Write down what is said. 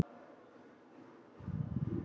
Breki: Er þetta síðasta gjöfin?